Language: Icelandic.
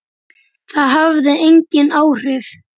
Það hafði engin áhrif.